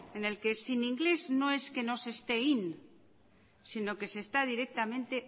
en el que sin inglés no es se esté in sino que se está directamente